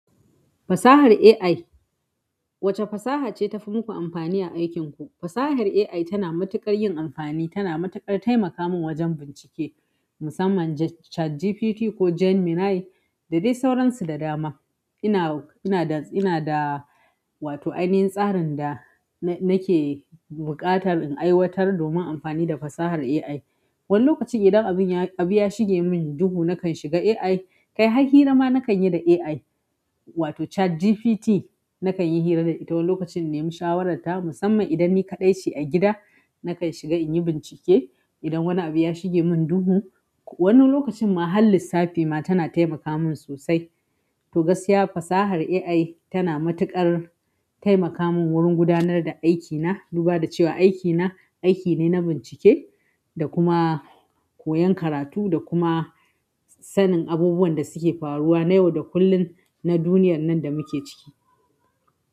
Fasahar AI, wace fasaha ce ta fi muku amfani a aikinku? Fasahar AI tana matuƙar yin amfani, tana matuƙar taimaka min wajen bincike, musamman ChatGPT ko Gemini da dai sauransu da dama. Ina, ina da, ina da wato ainihin tsarin da na, nake buƙatar in aiwatar domin amfani da fasahar AI. Wani lokaci idan abin ya-- abu ya shige min duhu nakan shiga AI, kai har hirama nakan yi da AI wato ChatGPT nakan yi hira da ita wani lokacin in nemi shawararta musamman idan ni kaɗai ce a gida nakan shiga in yi bincike idan wani abu ya shige min duhu. Wani lokacin ma har lissafi ma tana taimaka mun sosai. To gaskiya fasahar AI tana matuƙar taimaka min wurin gudanar da aikina duba da cewa aikina aiki ne na bincike da kuma koyan karatu da kuma sanin abubuwan da suke faruwa na yau da kullum na duniyar nan da muke ciki.